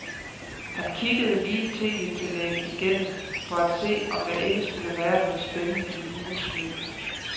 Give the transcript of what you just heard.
Han kiggede lige tv-tillægget igennem for at se, om der ikke skulle være noget spændende i ugens løb.